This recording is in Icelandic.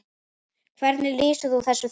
Hvernig lýsir þú þessu þema?